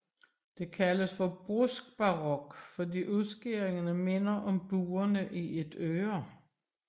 Det kaldes bruskbarok fordi udskæringerne minder om buerne i et øre